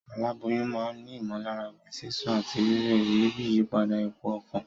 Aláboyún ma n ni ìmòlára bíi sísún àtí rírè, ebi, ìyípadà ipò okàn